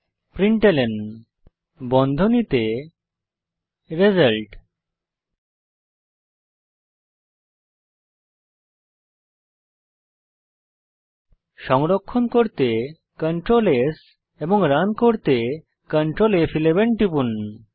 println বন্ধনীতে result সংরক্ষণ করতে কন্ট্রোল S এবং রান করতে কন্ট্রোল ফ11 টিপুন